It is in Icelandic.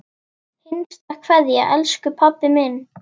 HINSTA KVEÐJA Elsku pabbi minn.